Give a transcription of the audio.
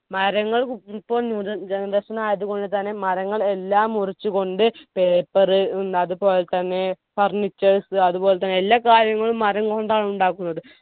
മരങ്ങൾ ഇപ്പോൾ new generation ആയതുകൊണ്ട് തന്നെ മരങ്ങൾ എല്ലാം മുറിച്ച്‌കൊണ്ട് paper ഉം അതുപോലെതന്നെ furnitures അതുപോലെതന്നെ എല്ലാ കാര്യങ്ങളും മരം കൊണ്ടാണ് ഉണ്ടാക്കുന്നത്